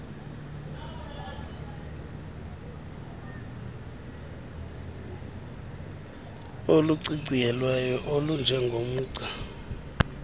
oluciciyelweyo olunje ngomgca